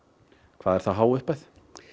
hvað er það há upphæð